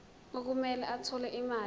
okumele athole imali